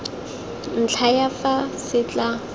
ntlha ya fa se tla